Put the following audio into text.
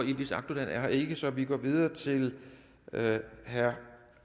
yildiz akdogan er her ikke så vi går videre til herre